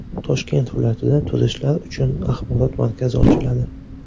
Toshkent viloyatida turistlar uchun axborot markazi ochiladi.